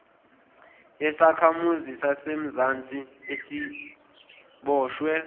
yesakhamuzi sasemzansi asiboshwe